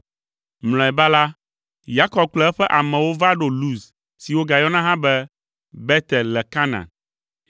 Mlɔeba la, Yakob kple eƒe amewo va ɖo Luz si wogayɔna hã be Betel le Kanaan.